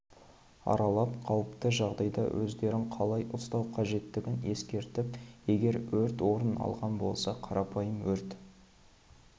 аралап қауіпті жағдайда өздерін қалай ұстау қажеттігін ескертіп егер өрт орын алған болса қарапайым өрт